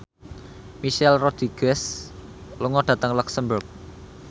Michelle Rodriguez lunga dhateng luxemburg